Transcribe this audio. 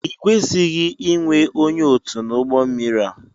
i kwesịghị inwe ónyé ọtu n'ugbó mmiri a!!!